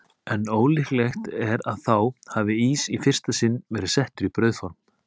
En ólíklegt er að þá hafi ís í fyrsta sinn verið settur í brauðform.